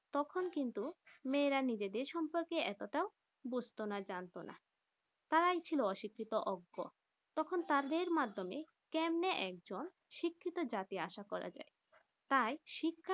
তখন কিন্তু মেয়েরা নিজেদের সম্পর্কে এতটা বুঝতো না যানতো না তারা ছিল অশিক্ষিত অগ্র তখন তাদের মাধ্যমে কেমনিই একজন শিক্ষিত জাতি আসা করা যায় তাই